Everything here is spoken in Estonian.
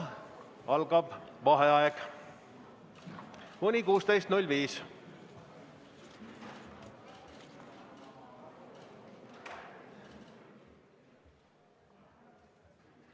Algab vaheaeg, mis kestab kuni 16.05.